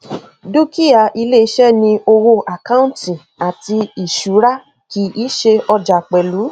dúkìá iléiṣẹ ni owó àkáǹtì àti ìṣúra kì í ṣe ọjà pẹlú